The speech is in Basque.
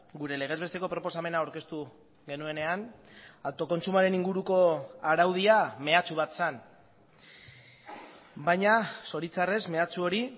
gure legez besteko proposamena aurkeztu genuenean autokontsumoaren inguruko araudia meatsu bat zen baina zoritzarrez meatsu hori